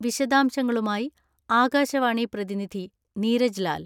വിശദാംശങ്ങളുമായി ആകാശവാണി പ്രതിനിധി നീരജ് ലാൽ....